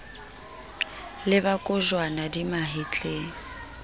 le ba kojwana di mahetleng